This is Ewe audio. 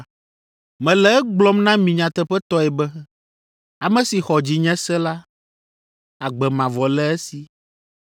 “Mele egblɔm na mi nyateƒetɔe be, ame si xɔ dzinye se la, agbe mavɔ le esi!